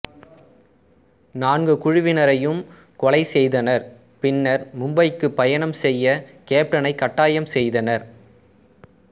நான்கு குழுவினரையும் கொலை செய்தனர் பின்னர் மும்பைக்கு பயணம் செய்ய கேப்டனை கட்டாயம் செய்தனர்